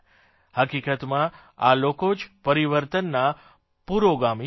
હકીકતમાં આ લોકો જ પરિવર્તનના પુરોગામી છે